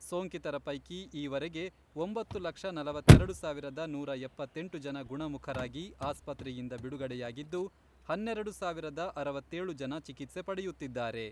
ಸೋಂಕಿತರ ಪೈಕಿ ಈವರೆಗೆ ಒಂಬತ್ತು ಲಕ್ಷ ನಲವತ್ತೆರೆಡು ಸಾವಿರದ ನೂರಾ ಎಪ್ಪತ್ತೆಂಟು ಜನ ಗುಣಮುಖರಾಗಿ ಆಸ್ಪತ್ರೆಯಿಂದ ಬಿಡುಗಡೆಯಾಗಿದ್ದು, ಹನ್ನೆರೆಡು ಸಾವಿರದ ಅರವತ್ತೇಳು ಜನ ಚಿಕಿತ್ಸೆ ಪಡೆಯುತ್ತಿದ್ದಾರೆ.